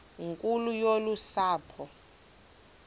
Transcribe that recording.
nkulu yolu sapho